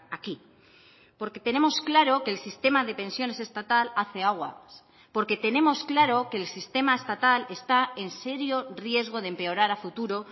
aquí porque tenemos claro que el sistema de pensiones estatal hace aguas porque tenemos claro que el sistema estatal está en serio riesgo de empeorar a futuro